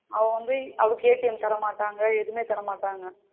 அவங்க வந்து அதுக்கு ATM தரமாட்டாங்க எதுமே தரமாட்டாங்க